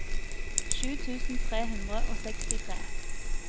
sju tusen tre hundre og sekstitre